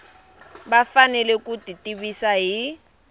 va fanele ku tivisiwa hi